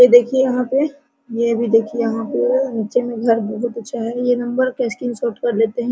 ये देखिये यहाँ पे ये अभी देखिये नीचे में घर बहुत अच्छा है ये नंबर का स्क्रीन शॉर्ट कर लेते हैं।